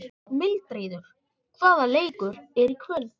Mildríður, hvaða leikir eru í kvöld?